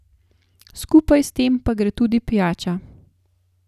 Skupaj s tem pa gre tudi pijača.